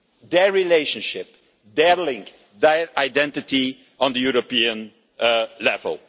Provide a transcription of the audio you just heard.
their relationship, their link, their identity on the European level.